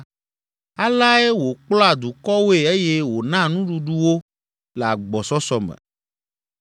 Aleae wòkplɔa dukɔwoe eye wònaa nuɖuɖu wo le agbɔsɔsɔ me.